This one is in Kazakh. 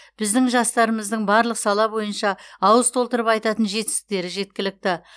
біздің жастарымыздың барлық сала бойынша ауыз толтырып айтатын жетістіктері жеткілікті